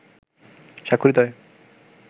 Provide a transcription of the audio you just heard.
স্বাক্ষরিত হয়